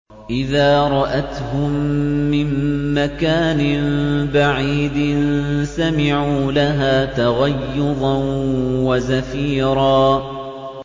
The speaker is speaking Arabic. إِذَا رَأَتْهُم مِّن مَّكَانٍ بَعِيدٍ سَمِعُوا لَهَا تَغَيُّظًا وَزَفِيرًا